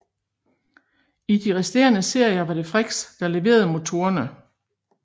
I de resterende serier var det Frichs der leverede motorerne